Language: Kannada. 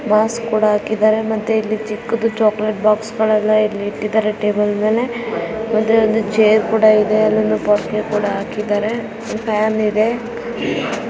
ಗ್ಲಾಸ್ ಕೂಡ ಹಾಕಿದ್ದಾರೆ ಮತ್ತೆ ಇಲ್ಲಿ ಚಿಕ್ಕದು ಚಾಕಲೇಟ್ ಬಾಕ್ಸ್ ಗಳೆಲ್ಲ ಇಲ್ ಇಟ್ಟಿದ್ದಾರೆ ಟೇಬಲ್ ಮೇಲೆ. ಒಂದೇ ಒಂದು ಚೇರ್ ಕೂಡಾ ಇದೆ ಇಲ್ ಟಾಫಿ ಕೂಡ ಹಾಕಿದ್ದಾರೆ. ಫ್ಯಾನ್ ಇದೆ.